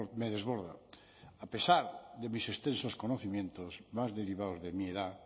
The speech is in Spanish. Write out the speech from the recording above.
me desborda a pesar de mis extensos conocimientos más derivados de mi edad